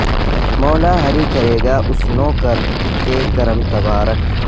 مولا ہری کرے گا اس نوں کر کے کرم تبارک